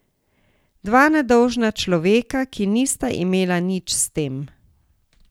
Dva nedolžna človeka, ki nista imela nič s tem.